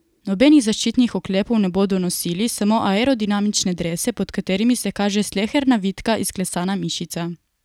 Nobenih zaščitnih oklepov ne bodo nosili, samo aerodinamične drese, pod katerimi se kaže sleherna vitka, izklesana mišica.